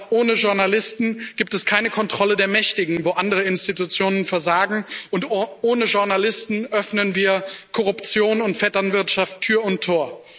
Ohne Journalisten gibt es keine Kontrolle der Mächtigen, wo andere Institutionen versagen, und ohne Journalisten öffnen wir Korruption und Vetternwirtschaft Tür und Tor.